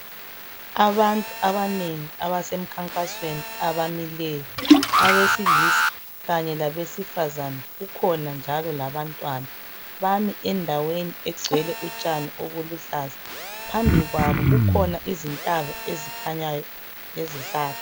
Abantu abanengi abasemkhankasweni abamileyo, abesilisa kanye labesifazana kukhona njalo labantwana, bami endaweni egcwele utshani obuluhlaza. Phambi kwabo kukhona izintaba ezikhanyayo kanye lezihlahla.